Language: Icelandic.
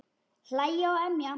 Hlæja og emja.